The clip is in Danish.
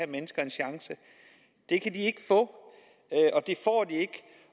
mennesker en chance det kan de ikke få